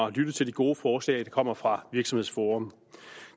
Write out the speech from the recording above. at lytte til de gode forslag der kommer fra virksomhedsforum